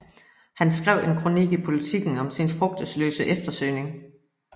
Han skrev en kronik i Politiken om sin frugtesløse eftersøgning